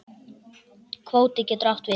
Kvóti getur átt við